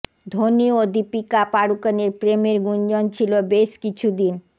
ধোনি ও দীপিকা পাড়ুকোনের প্রেমের গুঞ্জন ছিল বেশ কিছুদিন